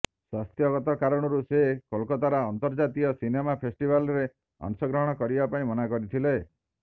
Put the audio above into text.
ସ୍ୱାସ୍ଥ୍ୟଗତ କାରଣରୁ ସେ କୋଲକାତାର ଅନ୍ତର୍ଜାତୀୟ ସିନେମା ଫେଷ୍ଟିଭାଲ୍ରେ ଅଂଶଗ୍ରହଣ କରିବାପାଇଁ ମନା କରିଥିଲେ